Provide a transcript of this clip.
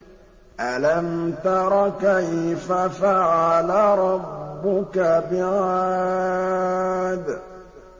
أَلَمْ تَرَ كَيْفَ فَعَلَ رَبُّكَ بِعَادٍ